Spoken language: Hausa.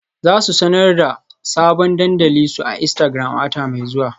Za su sanar da sabon dandalin su a Instagram a wata mai zuwa.